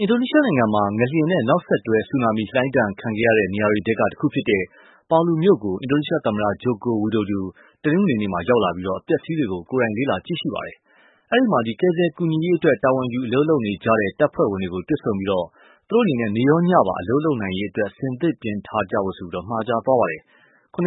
အင်ဒိုနီးရှားနိုင်ငံမှာ ငလျင်နဲ့နောက်ဆက်တွဲ ဆူနာမီလှိုင်းဒဏ်ခံခဲ့ရတဲ့နေရာတွေထဲ တခုဖြစ်တဲ့Palu မြို့ကို အင်ဒိုနီးရှားသမ္မတ Joko Widodo တနင်္ဂနွေနေ့မှာ ရောက်လာပြီး အပျက်အစီးတွေကို ကိုယ်တိုင် လေ့လာကြည့်ရှုပါတယ်။ အဲဒီမှာ ကယ်ဆယ်ကူညီရေးအတွက် တာဝန်ယူအလုပ်လုပ်နေကြတဲ့ တပ်ဖွဲ့တွေကို တွေ့ဆုံပြီး၊ နေရော ညပါ အလုပ်လုပ်နိုင်ရေး အဆင်သင့်ပြင်ထားဖို့ မှာကြားခဲ့ပါတယ်။ ၇.၅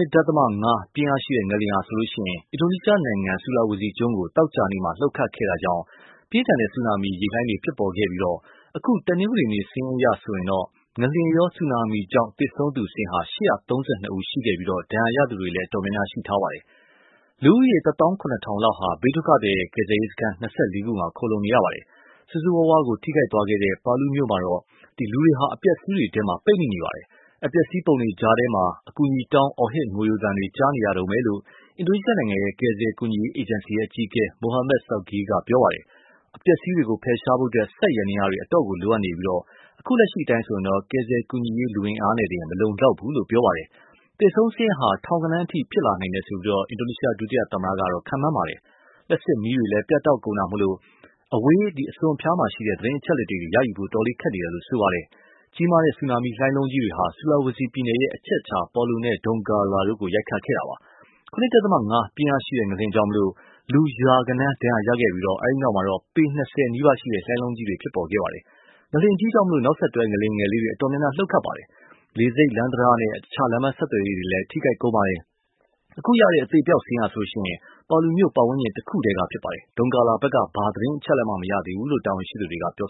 ပြင်းအားရှိတဲ့ ငလျင်ဟာ အင်ဒိုနီးရှားနိုင်ငံ ဆူလာဝေစီကျွန်းကို သောကြာနေမှာ လှုပ်ခတ်ခဲ့တာကြောင့် ပြင်းထန်တဲ့ဆူနာမီ ရေလှိုင်းတွေဖြစ်ခဲ့ပြီး၊ အခု တနင်္ဂနွေနေ့ စာရင်းအရဆိုရင် ငလျင်ရော ဆူနာမီကြောင့် သေဆုံးသူ ၈၃၂ ဦးရှိခဲ့ပြီး ဒဏ်ရာရသူတွေလည်း အတော်များပါတယ်။ လူဦးရည် တသောင်းခုနှစ်ထောင်လောက်ဟာ ဘေးဒုက္ခသည်ကယ်ဆယ်ရေးစခန်း ၂၄ ခုမှာ ခုံလှုံနေရပါတယ် ။ ဆိုးဆိုးရွားရွား ထိခိုက်ခဲ့တဲ့ Palu မြို့မှာတော့ လူတွေဟာ အပျက်အစီးတွေထဲ ပိတ်မိနေပါတယ။် အပျက်အစီးပုံတွေကြားထဲကနေ အကူအညီတောင်း အော်ဟစ်ငိုယိုသံတွေ ကြားနေရတုန်းပဲလို့ အင်ဒိုနီရှားနိုင်ငံရဲ့ ကယ်ဆယ်ကူညီရေးအေဂျင်စီအကြီးအကဲ Muhammad Syaugi က ပြောပါတယ်။ အပျက်အစီးတွေကို ဖယ်ရှားဖို့ စက်ယန္တယားတွေအတော့်ကိုလိုအပ်နေပြီး၊ အခုလက်ရှိ ကယ်ဆယ်ကူညီရေးလူအင်အားနဲ့တင် မလုံလောက်ဘူးလို့လည်း ပြောပါတယ်။ သေဆုံးစာရင်းဟာ ထောင်ဂဏန်းအထိဖြစ်လာနိုင်တယ်လို့ ဒုသမတ Jusuf Kalla က ခန့်မှန်းပါတယ်။ လျှပ်စစ်မီးတွေလည်း ပြတ်တောက်ကုန်တာကြောင့် အဝေးအစွန်အဖျားက သတင်းအချက်အလက်တွေ ရဖို့ခက်နေတယ်လို့ ဆိုပါတယ်။ ကြီးမားတဲ့ ဆူနာမီလှိုင်းလုံးတွေဟာ Sulawesi ပြည်နယ်ရဲ့ အချက်အချာ Palu နဲ့ Donggala တို့ကို ရိုက်ခတ်ခဲ့တာပါ။ ၇.၅ ပြင်းအားရှိတဲ့ ငလျင်ကြောင့် လူရာဂဏန်း ဒဏ်ရာရခဲ့ပြီး၊ အဲဒီနောက်တော့ ပေ ၂၀နီးပါး လှိုင်းလုံးကြီးတွေ ဖြစ်ပေါ်ခဲ့ပါတယ။ငလျှင်ကြီးကြောင့် နောက်ဆက်တွဲ ငလျင်လေးတွေအတော်များများ လှုပ်ခတ်ခဲ့ပြီး၊ လေဆိပ်၊ လမ်း တံတားနဲ့ အခြားလမ်းပမ်းဆက်သွယ်ရေးတွေလည်း ထိခိုက်ကုန်ပါတယ်။ အခုရတဲ့ အသေအပျောက်စာရင်းဟာလည်း Palu မြို့ပတ်ဝန်းကျင်တခုတည်းကဖြစ်ပါတယ်။ Dongala ဖက်က ဘာမှ သတင်းအချက်အလက်မှ မရသေးဘူးလို့ တာဝန်ရှိသူတွေက ပြော